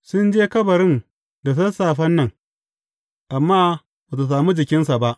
Sun je kabarin da sassafen nan, amma ba su sami jikinsa ba.